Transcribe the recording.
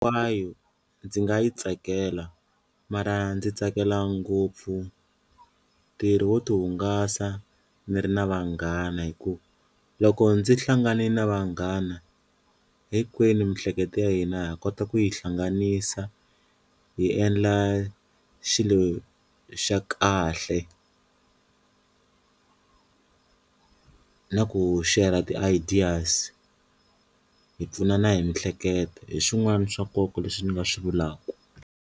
ndzi nga yi tsakela mara ndzi tsakela ngopfu ntirho wo ti hungasa ni ri na vanghana hi ku loko ndzi hlangane na vanghana hinkwenu mihleketo ya hina ha kota ku yi hlanganisa hi endla xilo xa kahle na ku share-ra ti-ideas hi pfunana hi mihleketo, hi swn'wana swa nkoka leswi ni nga swi vulaka.